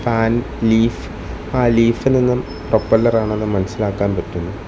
Fan leaf ആ ലീഫിൽ നിന്നും പ്രൊപ്പല്ലർ ആണെന്ന് മനസ്സിലാക്കാൻ പറ്റും.